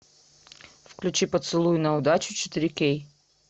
включи поцелуй на удачу четыре кей